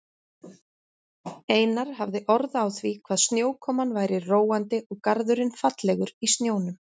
Einar hafði orð á því hvað snjókoman væri róandi og garðurinn fallegur í snjónum.